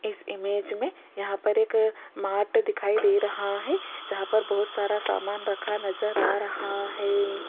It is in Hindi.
इस इमेज मे यहां पर एक मार्ट दिखाई दे रहा है जहां पर बहुत सारा समान रखा नज़र आ रहा है।